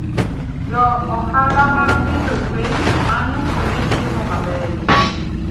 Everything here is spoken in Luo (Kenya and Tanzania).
Jo ohala mag pidho gwen manyo kuonde chiemo mabeyo.